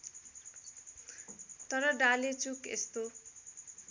तर डालेचुक यस्तो